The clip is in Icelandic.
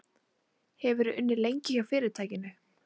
Hefurðu unnið lengi hjá fyrirtækinu?